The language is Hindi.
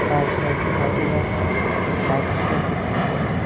साइड साइड दिखाई दे रहा है लाइट का बोर्ड दिखाई दे रहा --